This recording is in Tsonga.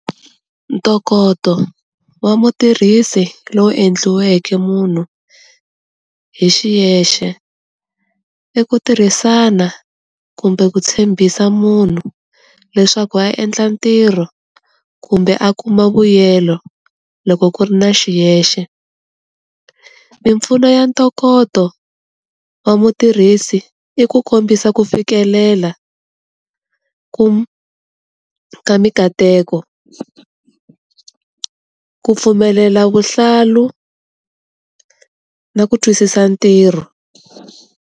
Ntokoto wa mutirhisi lowu endliweke munhu hi xiyexe i ku tirhisana kumbe ku tshembisa munhu leswaku a ya endla ntirho kumbe a kuma vuyelo loko ku ri na xiyexe, mimpfuno ya ntokoto wa mutirhisi i ku kombisa ku fikelela ku ka mikateko, ku pfumelela vuhlalu na ku twisisa ntirho.